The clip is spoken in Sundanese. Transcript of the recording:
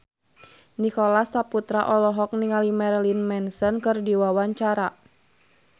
Nicholas Saputra olohok ningali Marilyn Manson keur diwawancara